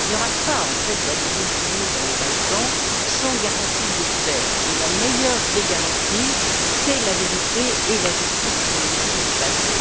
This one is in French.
Il n'y aura pas, en fait, d'adhésion pour nous dans les Balkans sans garantie de paix, et la meilleure des garanties, c'est la vérité et la justice sur les crimes du passé.